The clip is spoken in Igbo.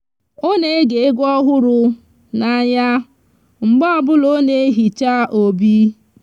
o n'ege egwu ohuru n'anya mgbe obula o n'ehicha obi